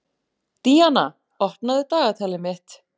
Díanna, opnaðu dagatalið mitt.